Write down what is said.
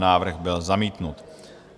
Návrh byl zamítnut.